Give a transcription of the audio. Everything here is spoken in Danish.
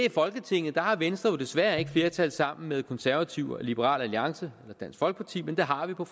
i folketinget har venstre jo desværre ikke flertal sammen med konservative og liberal alliance eller dansk folkeparti men det har vi på